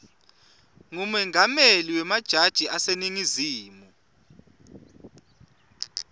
ngumengameli wemajaji aseningizimu